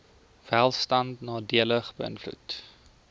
welstand nadelig beïnvloed